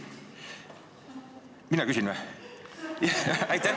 Kas mina küsin või?